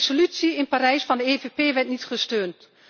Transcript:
Een resolutie over Parijs van de EVP werd niet gesteund.